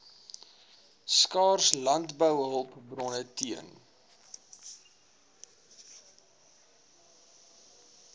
skaars landbouhulpbronne teen